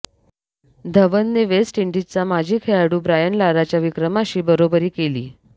धवनने वेस्ट इंडिजचा माजी खेळाडू ब्रायन लाराच्या विक्रमाशी बरोबरी केली